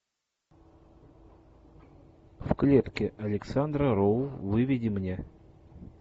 в клетке александра роу выведи мне